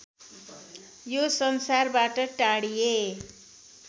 यो संसारबाट टाढिए